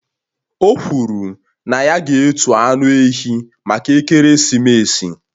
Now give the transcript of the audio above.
O kwuru na ya ga-etu anụ ehi maka ekeresimesi